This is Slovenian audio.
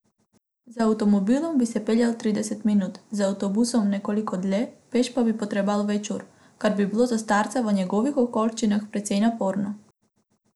Z avtomobilom bi se peljal trideset minut, z avtobusom nekoliko dlje, Peš pa bi potreboval več ur, kar bi bilo za starca v njegovih okoliščinah precej naporno.